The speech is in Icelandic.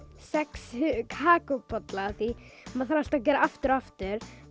sex kakóbolla af því maður þarf alltaf að gera aftur og aftur